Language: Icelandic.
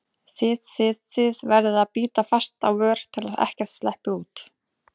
þið þið, þið- verður að bíta fast á vör til að ekkert sleppi út.